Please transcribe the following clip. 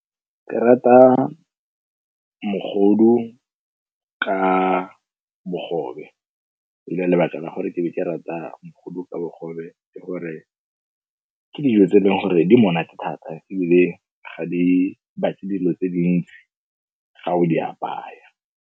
Ke rata mogodu ka bogobe. lebaka la gore ke be ke rata mogodu ka bogobe, ke gore ke dijo tse e leng gore di monate thata ebile ga di batle dilo tse dintsi ga o di apaya.